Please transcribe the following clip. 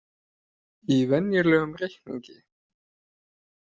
Í venjulegum reikningi.